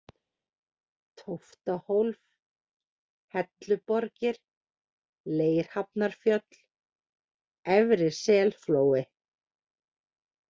Tóftahólf, Helluborgir, Leirhafnarfjöll, Efri-Selflói